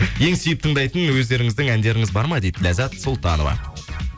ең сүйіп тыңдайтын өздеріңіздің әндеріңіз бар ма дейді ләззат сұлтанова